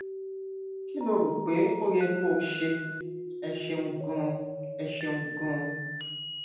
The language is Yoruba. kí lo rò pé ó yẹ kó o ṣe ẹ ṣeun ganan ẹ ṣeun ganan